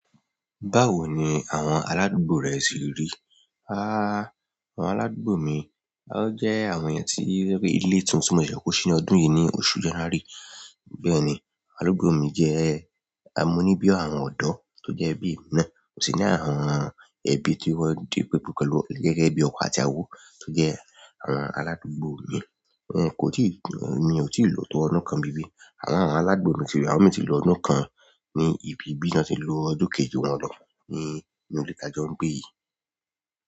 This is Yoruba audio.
Báwo ni àwọn aládùúgbò rẹ ṣì ń rí? Háá! Àwọn aládùúgbò mi, wọ́n jẹ́ àwọn ènìyàn tí wọ́n rí ilé tuntun móṣẹ́ kí wọ́n ṣí ọ́ ní ọdún yìí ní oṣù January. Bẹ́ẹ̀ni, aládùúgbò mi jẹ́ amúníbíọ̀ àwọn ọ̀dọ́ tó jẹ́ ẹbí mi náà. Mo sì ní àwọn ẹbí tí wọ́n di pẹpẹ pẹ̀lú gẹ́gẹ́ bí ọkọ àti ìyàwó tó jẹ́ àwọn aládùúgbò mi. Óun kò tíì, mi ò tíì lọ tọ ọdún kan níbí àwọn aládùúgbò mi tí wọ́n ti lọ ọdún kan ní ibi bí wọ́n ti lọ ọdún kejì wọn lọ ní, ní inú ilé ta jọ ń gbé yìí.